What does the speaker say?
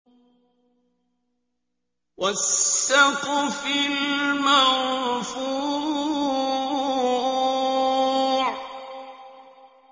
وَالسَّقْفِ الْمَرْفُوعِ